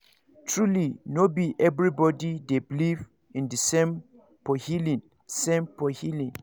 truly no be everybody dey beleive in the same for healing same for healing